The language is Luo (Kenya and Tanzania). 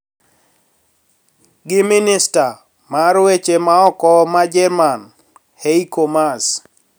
Gi minista mar weche ma oko ma Jerman Heiko Maas,